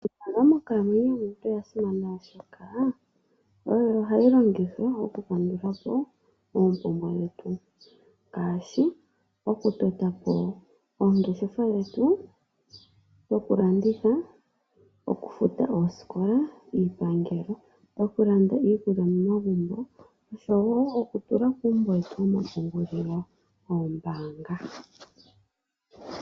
Iimaliwa monkalamwenyo yomuntu oyasimana oshoka, Oyo hayi longithwa oku kandulapo eepumbwe dhetu, Ngashi oku totapo eengeshefa dhetu dhokulanditha, Okufuta eesikola, Iipangelo, Okulanda iikulya momagumbo oshowo okutula kuumbo wetu womapungulilo woombanga.